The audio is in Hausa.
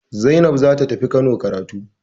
Zainab za ta tafi Kano karatu.